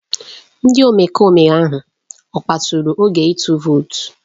Ndị omekome ahụ ọ kpasuru oge ịtụ vootu?